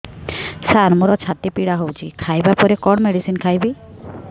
ସାର ମୋର ଛାତି ପୀଡା ହଉଚି ଖାଇବା ପରେ କଣ ମେଡିସିନ ଖାଇବି